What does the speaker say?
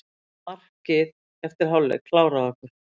Markið eftir hálfleik kláraði okkur.